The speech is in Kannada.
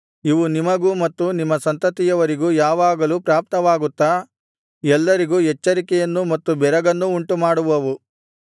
ಇವು ನಿಮಗೂ ಮತ್ತು ನಿಮ್ಮ ಸಂತತಿಯವರಿಗೂ ಯಾವಾಗಲೂ ಪ್ರಾಪ್ತವಾಗುತ್ತಾ ಎಲ್ಲರಿಗೂ ಎಚ್ಚರಿಕೆಯನ್ನೂ ಮತ್ತು ಬೆರಗನ್ನೂ ಉಂಟುಮಾಡುವವು